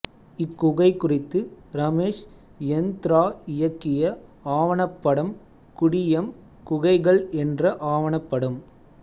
இக்குகை குறித்து ரமேஷ் யந்த்ரா இயக்கிய ஆவணப்படம் குடியம் குகைகள் என்ற ஆவணப்படம்